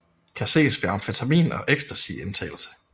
Kan ses ved amfetamin og ecstasy indtagelse